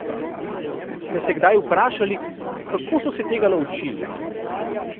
Ste se kdaj vprašali, kako so se tega naučili?